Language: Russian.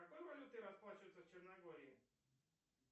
какой валютой расплачиваются в черногории